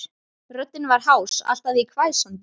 Röddin var hás, allt að því hvæsandi.